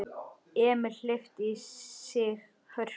Emil hleypti í sig hörku.